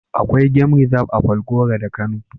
Akwai gam rizab (game reserve) a Falgore da ke Kano.